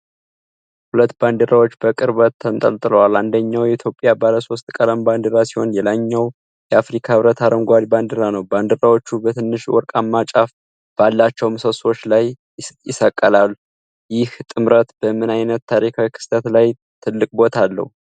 ሁለት ባንዲራዎች በቅርበት ተንጠልጥለዋል። አንደኛው የኢትዮጵያ ባለሶስት ቀለም ባንዲራ ሲሆን፣ ሌላኛው የአፍሪካ ህብረት አረንጓዴ ባንዲራ ነው። ባንዲራዎቹ በትንሽ ወርቃማ ጫፍ ባላቸው ምሰሶዎች ላይ ይሰቀላሉ። ይህ ጥምረት በምን አይነት ታሪካዊ ክስተት ላይ ትልቅ ቦታ አለው?